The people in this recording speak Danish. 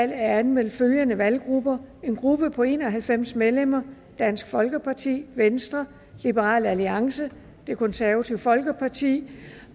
er anmeldt følgende valggrupper en gruppe på en og halvfems medlemmer dansk folkeparti venstre liberal alliance det konservative folkeparti